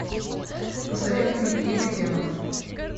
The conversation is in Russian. посоветуй мне книга демонов